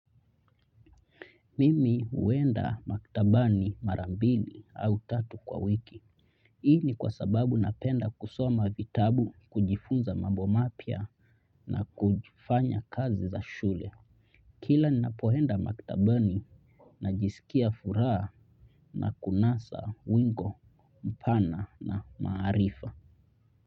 Mimi huenda maktabani mara mbili au tatu kwa wiki. Hii ni kwa sababu napenda kusoma vitabu, kujifunza mambo mapya na kufanya kazi za shule. Kila ninapoenda maktabani najisikia furaha na kunasa wingi, mpana na maarifa.